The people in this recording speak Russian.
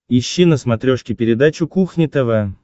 ищи на смотрешке передачу кухня тв